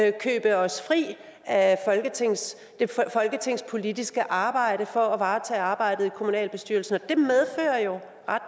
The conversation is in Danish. ikke købe os fri af det folketingspolitiske arbejde for at varetage arbejdet i kommunalbestyrelsen